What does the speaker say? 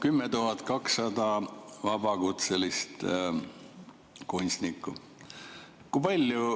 10 200 vabakutselist kunstnikku.